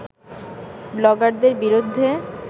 ব্লগারদের বিরুদ্ধে